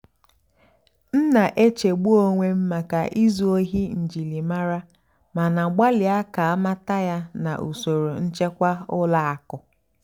m nà-èchègbú ónwé m màkà ízú óhì njìlìmárá màná gbàlị́à kà àmàtà yá nà ùsòrò nchèkwà ùlọ àkụ́.